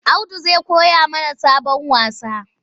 Audu zai koya mana sabon wasa.